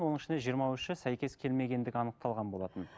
оның ішінде жиырма үші сәйкес келмегендігі анықталған болатын